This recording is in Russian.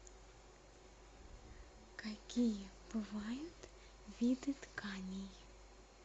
какие бывают виды тканей